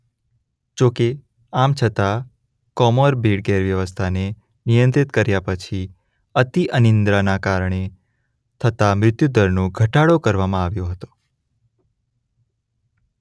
જોકે આમ છતાં કોમોરબિડ ગેરવ્યવસ્થાને નિયંત્રિત કર્યા પછી અતિ અનિદ્રાના કારણે થતા મૃત્યુદરનો ઘટાડો આવ્યો હતો.